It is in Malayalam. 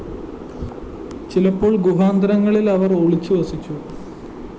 ചിലപ്പോള്‍ ഗുഹാന്തരങ്ങളില്‍ അവര്‍ ഒളിച്ചു വസിച്ചു